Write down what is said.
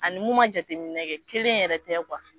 A ni mun ma jateminɛ kɛ, kelen yɛrɛ tɛ kuwa.